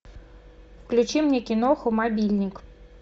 включи мне киноху мобильник